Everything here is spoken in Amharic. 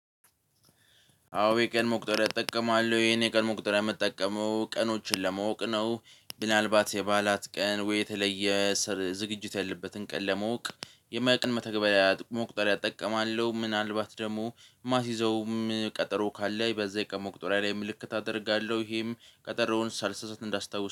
አዎ የቀን መቁጠሪያ እጠቀማለው ይሄን የቀን መቁጠሪያ ምጠቀመው ቀኖችን ለማወቅ ነው። ምናልባት የባላት ቀን ወይ የተለየ ዝግጅት ያለበትን ቀን ለማውቅ የቀን መተግበሪያ መቁጠሪያ እጠቀማለው ምናልባት ደሞ ማስይዘውም ቀጠሮ ካለ በዛ የቀን መቁጠሪያ ላይ ምልክት አደርጋለው ይሄም ቀጠሮውን ሳልሳሳት እንዳስታውስ